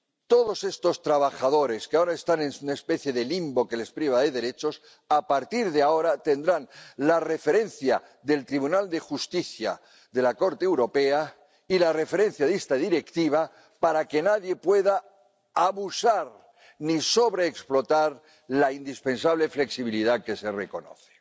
Todos estos trabajadores, que ahora están en una especie de limbo que les priva de derechos, a partir de ahora tendrán la referencia del Tribunal de Justicia de la Unión Europea y la referencia de esta Directiva para que nadie pueda abusar ni sobreexplotar la indispensable flexibilidad que se reconoce.